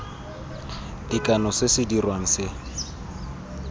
tekano se se dirwang se